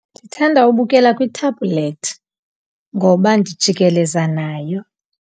Ndithanda ubukela kwi-tablet ngoba ndijikeleza nayo.